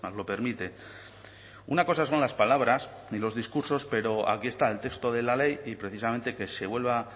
lo permite una cosa son las palabras y los discursos pero aquí está el texto de la ley y precisamente que se vuelva